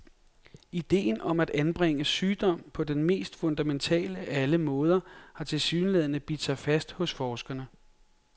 Idéen om at angribe sygdom på den mest fundamentale af alle måder har tilsyneladende bidt sig fast hos forskerne.